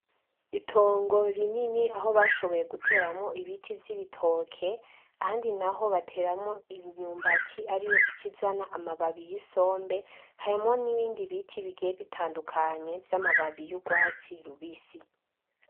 Itongo rinini, aho bashoboye guteramwo ibiti vy‘ ibitoke, ahandi naho bateramwo imyumbati ar‘ iyo ica izana amababi y‘ isombe, harimwo nibindi biti bigiye bitandukanye vy‘ amababi y‘ urwatsi rubisi .